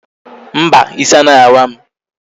Mba, ịsị anaghị awa m